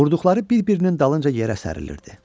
Vurduqları bir-birinin dalınca yerə sərilirdi.